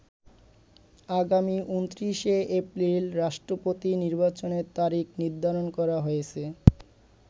আগামী ২৯শে এপ্রিল রাষ্ট্রপতি নির্বাচনের তারিখ নির্ধারণ করা হয়েছে।